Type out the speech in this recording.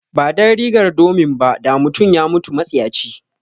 Ba don rigar domin ba, da mutum ya mutu matsiyaci.